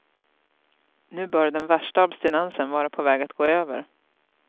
Nu bör den värsta abstinensen vara på väg att gå över.